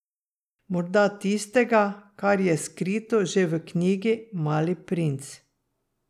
Morda tistega, kar je skrito že v knjigi Mali princ.